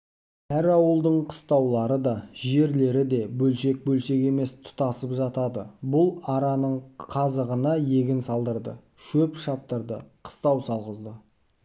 әр ауылдың қыстаулары да жерлері де бөлшек-бөлшек емес тұтасып жатады бұл араның қазағына егін салдырды шөп шаптырды қыстау салғызды